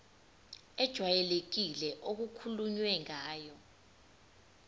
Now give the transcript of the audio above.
ejwayelekile okukhulunywe ngayo